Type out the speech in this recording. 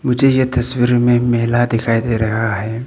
मुझे यह तस्वीर में मेला दिखाई दे रहा है।